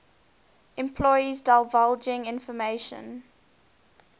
employees divulging information